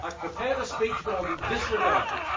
I have prepared a speech, but I will disregard it.